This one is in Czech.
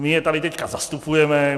My je tady teď zastupujeme.